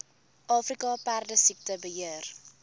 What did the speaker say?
afrika perdesiekte beheer